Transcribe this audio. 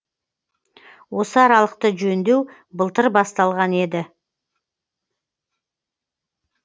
осы аралықты жөндеу былтыр басталған еді